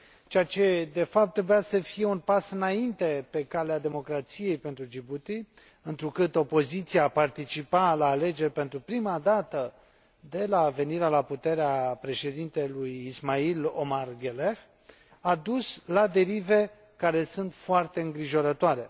Ceea ce, de fapt, trebuia să fie un pas înainte pe calea democrației pentru Djibouti, întrucât opoziția participa la alegeri pentru prima dată de la venirea la putere a Președintelui Ismail Omar Guelleh, a dus la derive care sunt foarte îngrijorătoare.